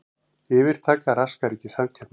Yfirtaka raskar ekki samkeppni